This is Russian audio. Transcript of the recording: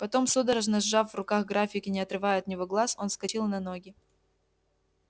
потом судорожно сжав в руках график и не отрывая от него глаз он вскочил на ноги